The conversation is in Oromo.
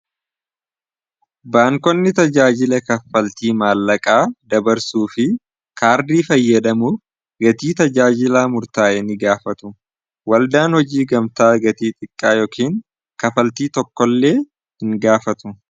baankonni tajaajila kafaltii maallaqaa dabarsuu fi kaardii fayyadamuu. gatii tajaajilaa murtaa'e ni gaafatu waldaan hojii gamtaa gatii xiqqaa yookiin kafaltii tokko illee hin gaafatu.